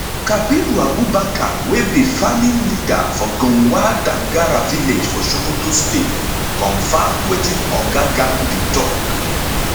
kabiru abubakar wey be farming leader for gunhwar dangara village for sokoto state confam wetin oga gandi tok